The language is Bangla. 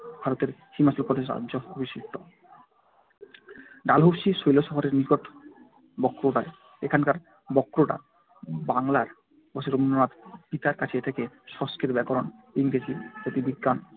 ভারতের হিমাচল প্রদেশ অঞ্চল অবস্থিত ডালহৌসি শৈলশহরের নিকট বক্রোটায়। এখানকার বক্রোটা বাংলোয় বসে রবীন্দ্রনাথ পিতার কাছ থেকে সংস্কৃত ব্যাকরণ, ইংরেজি, জ্যোতির্বিজ্ঞান